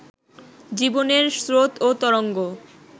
জীবনের স্রোত ও তরঙ্গ